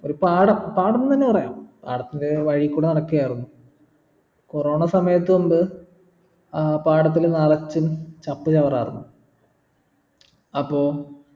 ഒരു പാടം പാടന്നെന്നെ പറയാം പാടത്തിന്റെ വഴികൂടെ നടക്കായിരുന്നു corona സമയത്ത് മുമ്പ് അഹ് പാടത്തില് നിറച്ചും ചപ്പ് ചാവറായിരുന്നു അപ്പൊ